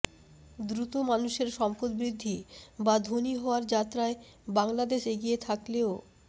দ্রুত মানুষের সম্পদ বৃদ্ধি বা ধনী হওয়ার যাত্রায় বাংলাদেশ এগিয়ে থাকলেও